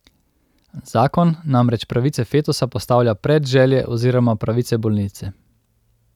Zakon namreč pravice fetusa postavlja pred želje oziroma pravice bolnice.